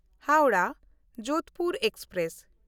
ᱦᱟᱣᱲᱟᱦ–ᱡᱳᱫᱷᱯᱩᱨ express